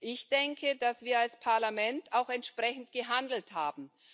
Ich denke, dass wir als Parlament auch entsprechend gehandelt haben.